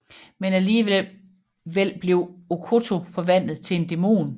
Men alligevel bliver Okkoto forvandlet til en dæmon